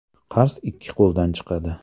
Qars ikki qo‘ldan chiqadi”.